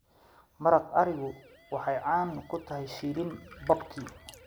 Maraq arigu waxay caan ku tahay shiilan barbecue.